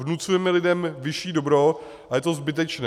Vnucujeme lidem vyšší dobro a je to zbytečné.